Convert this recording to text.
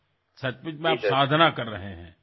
সঁচাকৈয়ে আপুনি সাধনা কৰি আছে